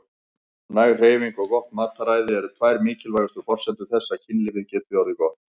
Næg hreyfing og gott mataræði eru tvær mikilvægustu forsendur þess að kynlífið geti orðið gott.